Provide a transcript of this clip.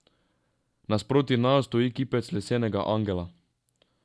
Nasproti naju stoji kipec lesenega angela.